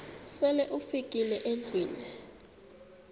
sele ufikile endlwini